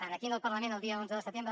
aquí al parlament el dia onze de setembre